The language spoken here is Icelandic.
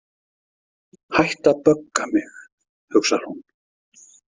Hættu að bögga mig, hugsar hún.